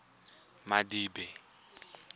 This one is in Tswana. madibe